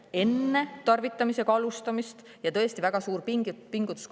Üks on ennetus enne tarvitamisega alustamist ja see on tõesti väga suur pingutus.